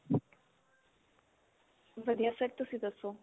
ਵਧੀਆ sir. ਤੁਸੀਂ ਦੱਸੋ?